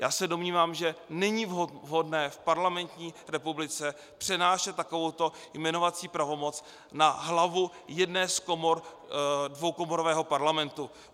Já se domnívám, že není vhodné v parlamentní republice přenášet takovouto jmenovací pravomoc na hlavu jedné z komor dvoukomorového parlamentu.